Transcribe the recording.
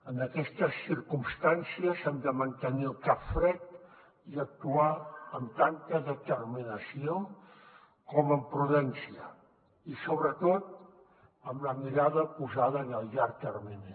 en aquestes circumstàncies hem de mantenir el cap fred i actuar amb tanta determinació com amb prudència i sobretot amb la mirada posada en el llarg termini